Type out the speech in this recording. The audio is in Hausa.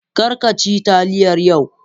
Kar ka ci taliyar yau.